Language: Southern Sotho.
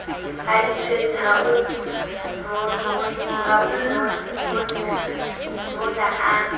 ithwetse ha o mmona a